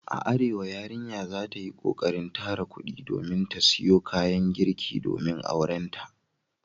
A Arewa yarinya za ta yi kokarin tara kudi domin ta siyo kayan girki domin aurenta.